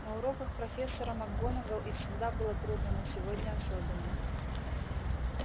на уроках профессора макгонагалл и всегда было трудно но сегодня особенно